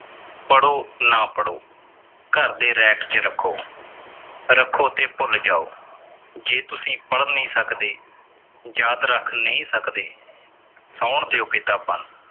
ਪੜ੍ਹੋ ਨਾ ਪੜ੍ਹੋ। ਘਰਦੇ rack ਚ ਰੱਖੋ। ਰੱਖੋ ਤੇ ਭੁੱਲ ਜਾਓ। ਜੇ ਤੁਸੀਂ ਪੜ੍ਹ ਨੀ ਸਕਦੇ। ਯਾਦ ਰੱਖ ਨਈਂ ਸਕਦੇ। ਸੌਣ ਦਿਓ ਕਿਤਾਬਾਂ ਨੂੰ।